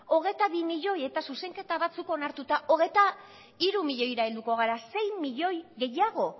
hogeita bi milioi eta zuzenketa batzuk onartuta hogeita hiru milioira helduko gara sei milioi gehiago